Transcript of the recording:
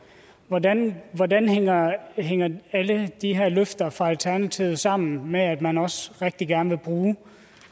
hvordan hvordan hænger hænger alle de her løfter fra alternativets side sammen med at man også rigtig gerne vil bruge